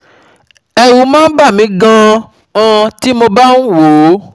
Ẹ̀rù máa ń bà mí gan-an tí mo bá ń wò ó